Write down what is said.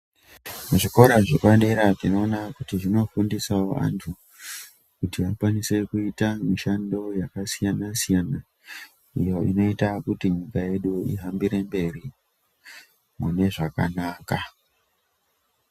Muzvikora zvepadera tinoona kuti zvinofundisawo vantu kuti akwanise kuita mishando yakasiyana-siyana iyo inoita kuti nyika yedu ihambire mberi kune zvakanaka.